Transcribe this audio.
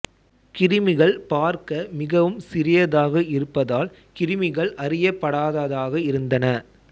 கிருமிகள் பார்க்க மிகவும் சிறியதாக இருப்பதால் கிருமிகள் அறியப்படாததாக இருந்தன